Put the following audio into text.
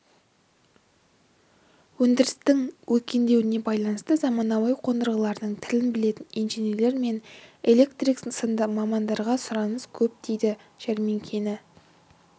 өндірістің өркендеуіне байланысты заманауи қондырғылардың тілін білетін инженерлер мен электрик сынды мамандарға сұраныс көп дейді жәрмеңкені